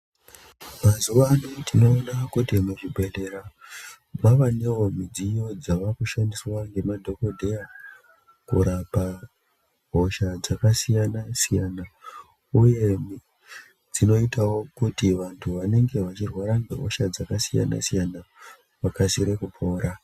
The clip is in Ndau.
Mazuva ano tinoona kuti mu zvibhedhlera mavanewo midziyo dzavaku shandiswa nge madhokodheya kurapa hosha dzaka siyana siyana uye dzinoitawo kuti vantu vanenge vachi rwara nge hosha dzaka siyana siyana vakasire kupora.